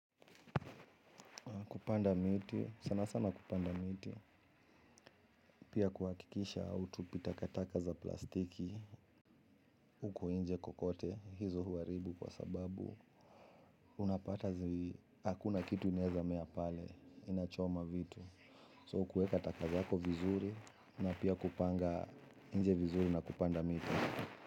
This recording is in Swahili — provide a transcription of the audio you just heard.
Kupanda miti, sana sana kupanda miti, pia kuhakikisha hautupi takataka za plastiki, huko nje kwokwote, hizo huharibu kwa sababu, unapata zi, hakuna kitu inaezamea pale, inachoma vitu, so kuweka taka zako vizuri, na pia kupanga nje vizuri na kupanda miti.